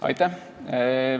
Aitäh!